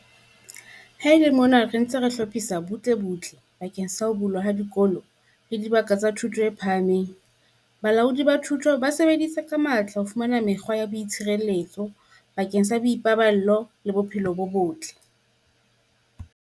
Ha e le mona re ntse re hlophisa butlebutle bakeng sa ho bulwa ha dikolo le dibaka tsa thuto e phahameng, balaodi ba thuto ba sebeditse ka matla ho fumana mekgwa ya boitshireletso bakeng sa boipaballo le bophelo bo botle.